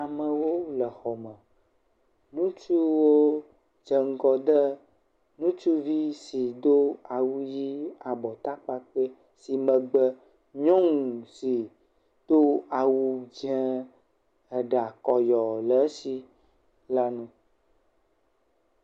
Amewo le xɔ me. Ŋutsuwo dze ŋgɔ de ŋutsuvi si do awu ʋi abɔtakpakpɛ si megbe nyɔnu si do awu dze eɖakɔyɔ le esi la nu.